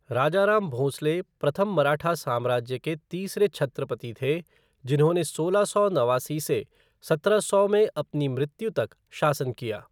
राजाराम भोंसले प्रथम मराठा साम्राज्य के तीसरे छत्रपति थे, जिन्होंने सोलह सौ नवासी से सत्रह सौ में अपनी मृत्यु तक शासन किया।